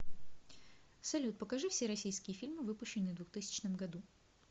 салют покажи все российские фильмы выпущенные в двухтысячном году